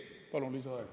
Palun lisaaega.